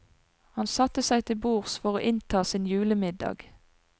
Han satte seg til bords for å innta sin julemiddag.